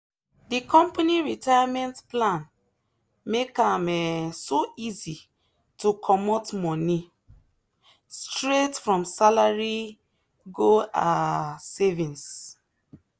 the company retirement plan make am um so easy to comot money straight from salary go um savings.